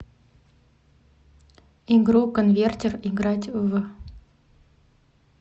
игру конвертер играть в